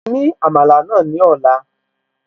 Fún mi ní Àmàlà náà ní ọ̀la